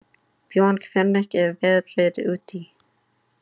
Björn, hvernig er veðrið úti?